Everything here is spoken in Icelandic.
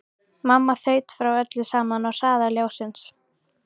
Mamma þaut frá öllu saman á hraða ljóssins.